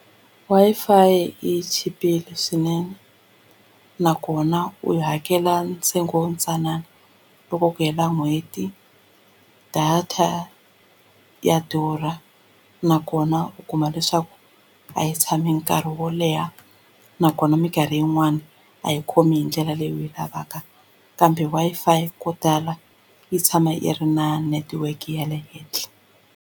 Wi-Fi yi chipile swinene nakona u yi hakela ntsengo wo ntsanana loko ku hela n'hweti data ya durha nakona na u kuma leswaku a yi tshami nkarhi wo leha nakona mikarhi yin'wani a yi khomi hi ndlela leyi u yi lavaka kambe Wi-Fi ko tala yi tshama yi ri na network ya le henhla.